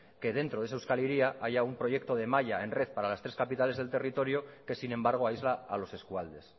que dentro de esa euskal hiria haya un proyecto de malla en red para las tres capitales del territorio que sin embargo aísla a los eskualdes